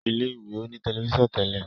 ilé ìwé o ní Tẹlifíṣàn Tẹlẹ.